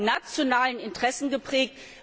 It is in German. Er ist von nationalen Interessen geprägt.